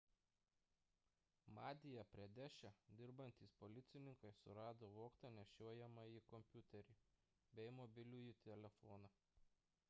madja pradeše dirbantys policininkai surado vogtą nešiojamąjį kompiuterį bei mobilųjį telefoną